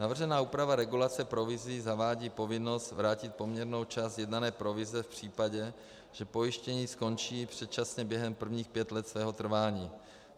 Navržená úprava regulace provizí zavádí povinnost vrátit poměrnou část sjednané provize v případě, že pojištění skončí předčasně během prvních pěti let svého trvání.